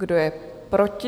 Kdo je proti?